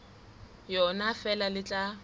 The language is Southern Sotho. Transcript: yona ha feela le tla